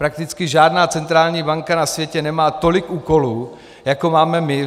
Prakticky žádná centrální banka na světě nemá tolik úkolů, jako máme my.